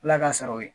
Ala ka saraw ye